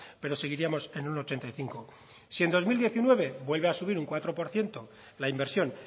pero seguiríamos en un ochenta y cinco si en dos mil diecinueve vuelve a subir un cuatro por ciento la inversión